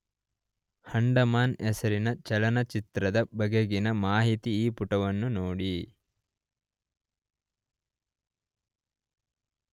ಅಂಡಮಾನ್ ಹೆಸರಿನ ಚಲನಚಿತ್ರದ ಬಗೆಗಿನ ಮಾಹಿತಿಗೆ ಈ ಪುಟವನ್ನು ನೋಡಿ